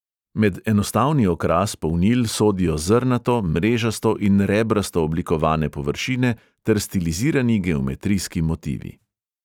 Med enostavni okras polnil sodijo zrnato, mrežasto in rebrasto oblikovane površine ter stilizirani geometrijski motivi.